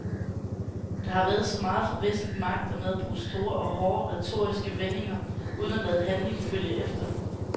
Der har været så meget fra vestlige magter med at bruge store og hårde, retoriske vendinger uden at lade handling følge efter.